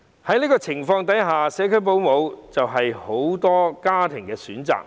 在這種情況下，社區保姆就是很多家庭的選擇。